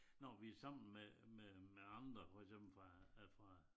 Når vi sammen med med med andre for eksempel fra øh fra